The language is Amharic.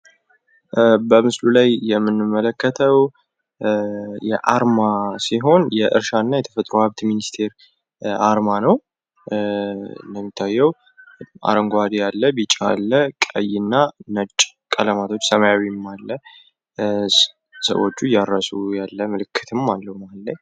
አንድ ጥሩ አርማ ተወዳዳሪ በሆነው የንግድ ዓለም ውስጥ ድርጅትዎን ከሌሎች ለመለየት ይረዳል እንዲሁም እምነትን ይገነባል።